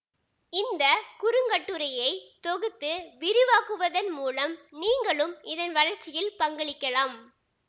இந்த குறுங்கட்டுரையை தொகுத்து விரிவாக்குவதன் மூலம் நீங்களும் இதன் வளர்ச்சியில் பங்களிக்கலாம்